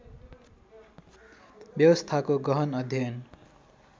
व्यवस्थाको गहन अध्ययन